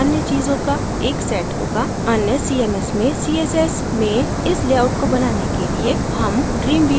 अन्य cms में css में इस layout को बनाने के लिए हम dreamweaver का उपयोग कर सकते हैं